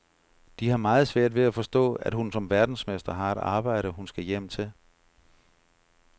De har meget svært ved at forstå, at hun som verdensmester har et arbejde, hun skal hjem til.